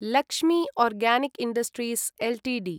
Lakshmi organic industries Ltd